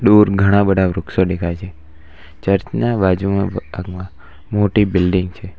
દૂર ઘણા બધા વૃક્ષો દેખાય છે ચર્ચના બાજુમાં ના ભાગમાં મોટી બિલ્ડીંગ છે.